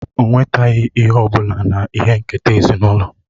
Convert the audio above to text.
O nwetaghị ihe ọ bụla ihe nketa ezinụlọ